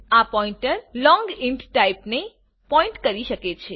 આ pointer long int ટાઇપને point કરી શકે છે